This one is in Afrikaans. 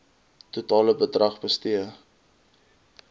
totale bedrag bestee